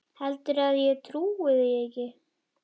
Heldurðu að ég trúi því ekki?